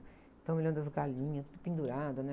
Então, me lembro das galinhas tudo pendurada, né?